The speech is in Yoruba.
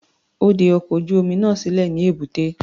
Ó de ọkọ̀ ojú-omi náà sílẹ̀ ní èbúté.